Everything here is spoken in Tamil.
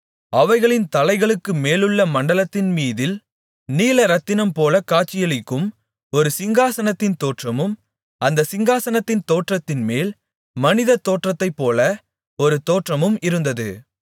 அவைகளின் தலைகளுக்குமேலுள்ள மண்டலத்தின்மீதில் நீலரத்தினம்போல காட்சியளிக்கும் ஒரு சிங்காசனத்தின் தோற்றமும் அந்தச் சிங்காசனத்தின் தோற்றத்தின்மேல் மனிததோற்றத்தை போல ஒரு தோற்றமும் இருந்தது